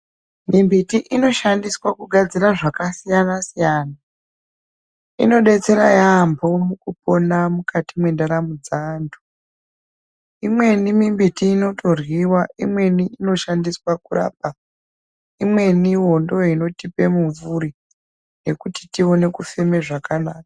Mimbiti inoshandiswa kugadzira zvakasiyana siyana. Inodetsera yaamho mukupona mukati mwendaramo dzaanhu. Imweni mimbiti inoryiwa. Imweni inoshandiswe kurapa. Imweniwo ndiyo inotipe mimvuri yekuti tioone kufema zvakanaka.